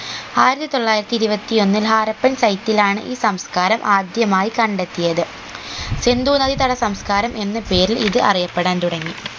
ആയിരത്തി തൊള്ളായിരത്തി ഇരുപത്തി ഒന്നിൽ ഹാരപ്പൻ site ലാണ് ഈ സംസ്ക്കാരം ആദ്യമായി കണ്ടെത്തിയത് സിന്ധു നദീതട സംസ്ക്കാരം എന്ന പേരിൽ ഇത് അറിയപ്പെടാൻ തുടങ്ങി